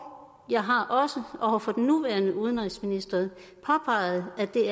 jeg har også over for den nuværende udenrigsminister påpeget at det